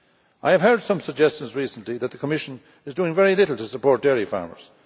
I have heard some suggestions recently that the Commission is doing very little to support dairy farmers.